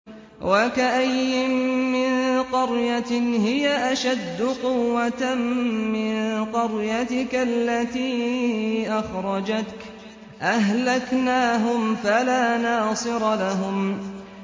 وَكَأَيِّن مِّن قَرْيَةٍ هِيَ أَشَدُّ قُوَّةً مِّن قَرْيَتِكَ الَّتِي أَخْرَجَتْكَ أَهْلَكْنَاهُمْ فَلَا نَاصِرَ لَهُمْ